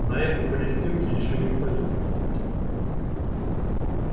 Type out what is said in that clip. на этой палестинке ещё никто не бывал